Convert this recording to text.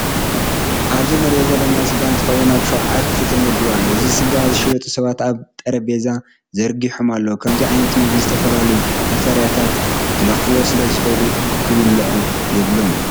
ኣብዚ እንሪኦ ዘለና ስጋ እንትከውን ኣብ ሸውዓት ተመዲቡ ኣሎ። እዞም ስጋ ዝሸጡ ሰባት ኣብ ጠሬጰዛ ዘርጊሀሞ ኣለው ከምዙይ ዓይነት ምግቢ ዝተፈላለያ ቫክተርያታት ክለክፍዎ ስለ ዝክእሉ ክብልዑ የብሎምን።